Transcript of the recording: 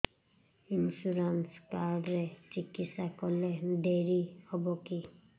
insurance card ରେ ଚିକିତ୍ସା କଲେ ଡେରି ହବକି